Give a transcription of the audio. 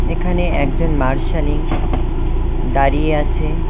এখানে একজন মার্শালিন দাঁড়িয়ে আছে।